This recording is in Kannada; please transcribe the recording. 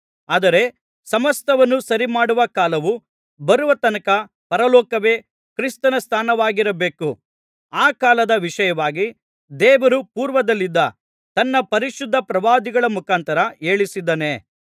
ಆದರೆ ಸಮಸ್ತವನ್ನು ಸರಿಮಾಡುವ ಕಾಲವು ಬರುವ ತನಕ ಪರಲೋಕವೇ ಕ್ರಿಸ್ತನ ಸ್ಥಾನವಾಗಿರಬೇಕು ಆ ಕಾಲದ ವಿಷಯವಾಗಿ ದೇವರು ಪೂರ್ವದಲ್ಲಿದ್ದ ತನ್ನ ಪರಿಶುದ್ಧ ಪ್ರವಾದಿಗಳ ಮುಖಾಂತರ ಹೇಳಿಸಿದ್ದಾನೆ